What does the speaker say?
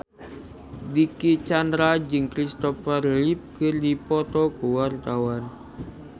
Dicky Chandra jeung Christopher Reeve keur dipoto ku wartawan